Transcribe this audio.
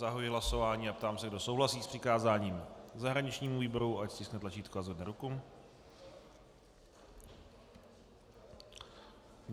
Zahajuji hlasování a ptám se, kdo souhlasí s přikázáním zahraničnímu výboru, ať stiskne tlačítko a zvedne ruku.